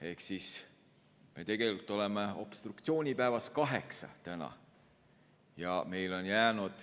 Ehk me tegelikult oleme obstruktsioonipäevas nr 8.